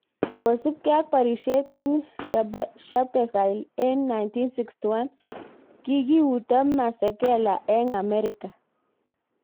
Kosupkei ak porishet env Sharperville eng 1961,Kikiuto Masekela eng Amerika